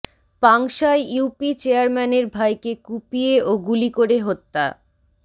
পাংশায় UP চেয়ারম্যানের ভাইকে কুপিয়ে ও গুলি করে হত্যা